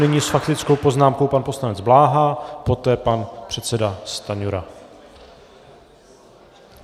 Nyní s faktickou poznámkou pan poslanec Bláha, poté pan předseda Stanjura.